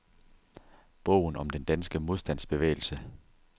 Bogen om den danske modstandsbevægelse.